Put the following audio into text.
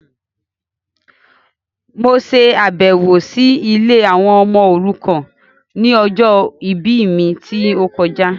Mo ṣàbẹ̀wọ̀ si ilé àwọn ọmọ òrukàn ni ọjọ ìbí mi ti o kojá